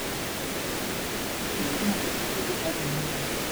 Diro pikipiki miyo ng'ato bedo gi paro manyien.